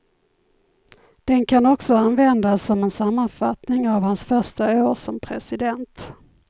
Den kan också användas som en sammanfattning av hans första år som president.